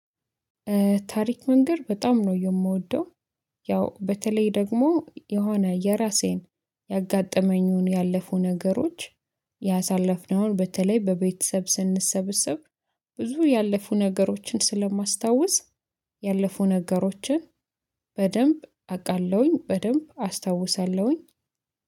ታሪክ መንገድ በጣም ነው የምወደው። ያው በተለይ ደግሞ የሆነ የራሴን ያጋጠመኝን ያለፉ ነገሮች ያሳለፍነውን በተለይ በቤተሰብ ስንሰብሰብ ብዙ ያለፉ ነገሮችን ስለማስታውስ። ያለፉ ነገሮችን በደንብ አውቃለሁኝ በደንብ አስታውሳለሁኝ